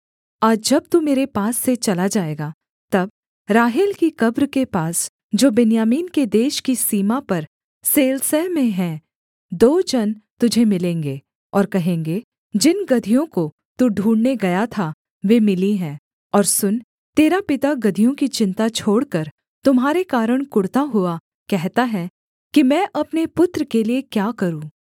आज जब तू मेरे पास से चला जाएगा तब राहेल की कब्र के पास जो बिन्यामीन के देश की सीमा पर सेलसह में है दो जन तुझे मिलेंगे और कहेंगे जिन गदहियों को तू ढूँढ़ने गया था वे मिली हैं और सुन तेरा पिता गदहियों की चिन्ता छोड़कर तुम्हारे कारण कुढ़ता हुआ कहता है कि मैं अपने पुत्र के लिये क्या करूँ